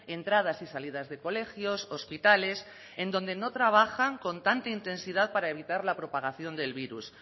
entradas y salidas de colegios hospitales en donde no trabajan con tanta intensidad para evitar la propagación del virus